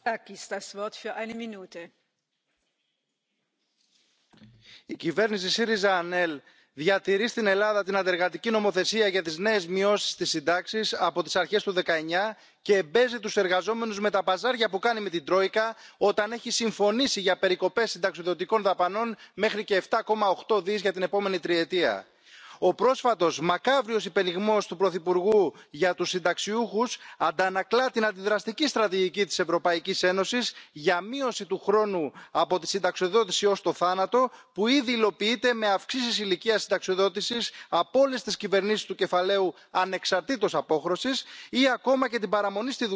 Madame la Présidente, je suis d'accord avec ce débat d'actualité la privatisation des régimes de retraite n'est pas une solution. La question des niveaux de retraite est une question majeure, qui se pose dans la plupart de nos économies. Nous savons les déséquilibres qui existent, nous savons la fragilité de nos retraités, quels que soient les systèmes en place. Nous savons combien le déséquilibre entre les hommes et les femmes plaide contre les femmes, plaide contre ceux qui bénéficient de régimes d'emplois atypiques, contre ceux qui ne sont pas aujourd'hui salariés. Nous sommes favorables à un renforcement